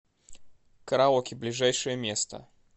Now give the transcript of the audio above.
караоке ближайшее место